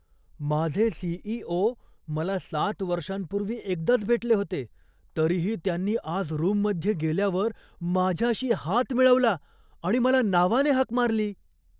माझे सी.ई.ओ. मला सात वर्षांपूर्वी एकदाच भेटले होते, तरीही त्यांनी आज रूममध्ये गेल्यावर माझ्याशी हात मिळवला आणि मला नावाने हाक मारली.